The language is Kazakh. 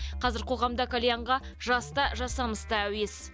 қазір қоғамда кальянға жас та жасамыс та әуес